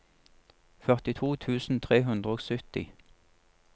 førtito tusen tre hundre og sytti